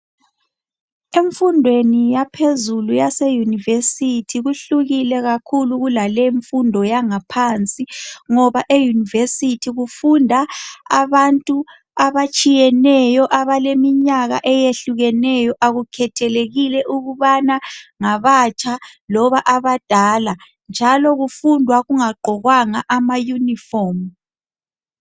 Emfundweni yaphezulu yase university, kuhlukike kakhulu kulaleyi imfundo yangaphansi ngoba euniversity kufunda abantu abatshiyeneyo abaleminyaka eyehlukeneyo, akukhethelekile ukubana ngabatsha loba abadala. Njalo kufundwa kungagqokwanga ama unifomu.